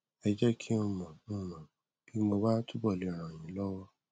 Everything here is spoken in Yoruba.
ẹ jẹ kí n mọ n mọ bí mo bá túbọ le ràn yín lọwọ